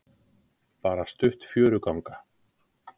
Bara stutt fjöruganga.